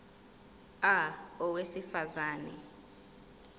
a owesifaz ane